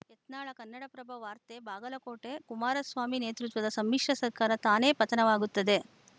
ಯತ್ನಾಳ ಕನ್ನಡಪ್ರಭ ವಾರ್ತೆ ಬಾಗಲಕೋಟೆ ಕುಮಾರಸ್ವಾಮಿ ನೇತೃತ್ವದ ಸಮ್ಮಿಶ್ರ ಸರ್ಕಾರ ತಾನೇ ಪತನವಾಗುತ್ತದೆ